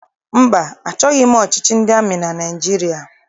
Mba, achọghị m ọchịchị ndị amị na Naịjirịa.